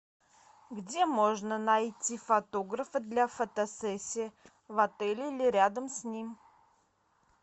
где можно найти фотографа для фотосессии в отеле или рядом с ним